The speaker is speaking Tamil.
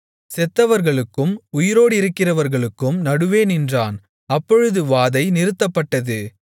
செத்தவர்களுக்கும் உயிரோடிருக்கிறவர்களுக்கும் நடுவே நின்றான் அப்பொழுது வாதை நிறுத்தப்பட்டது